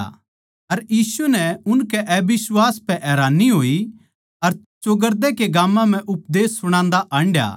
अर यीशु नै उनकै अबिश्वास पै हैरानी होई अर चौगरदे के गाम्मां म्ह उपदेश सुणान्दा हांडया